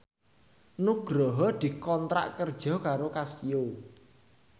Nugroho dikontrak kerja karo Casio